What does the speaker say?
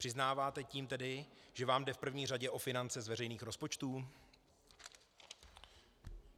Přiznáváte tím tedy, že vám jde v první řadě o finance z veřejných rozpočtů?